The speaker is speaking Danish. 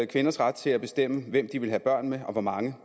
kvinders ret til at bestemme hvem de vil have børn med og hvor mange